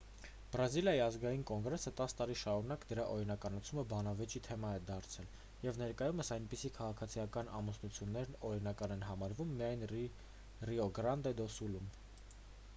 բրազիլիայի ազգային կոնգրեսը 10 տարի շարունակ դրա օրինականացումը բանավեճի թեմա է դարձրել և ներկայումս այդպիսի քաղաքացիական ամուսնություններն օրինական են համարվում միայն ռիո գրանդե դո սուլում